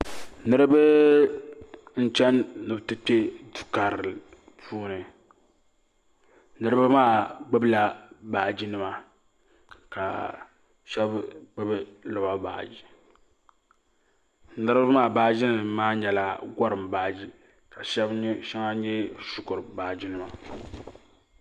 Niriba n chani ni bi ti Kpe duu karili puuni niriba maa gbubi la baaji nima ka shɛba gbubi lɔba baaji niriba maa baaji nima maa nyɛla gɔrim baaji ka shɛŋa nyɛ shikuru baaji nima.